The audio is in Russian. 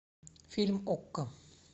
фильм окко